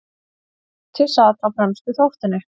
Koti sat á fremstu þóftunni.